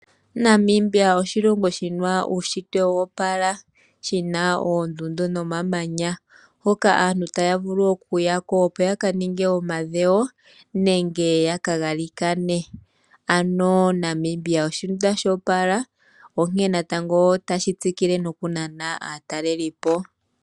Namibia oshilongo shina uushitwe woopala, shina oondundu nomamanya hoka aantu taya vulu okuyako yaka ninge omadhewo nenge yaka galikane, ano Namibia oshitunda shoopala onkee natango tashi tsikile noku nana aatalelipo.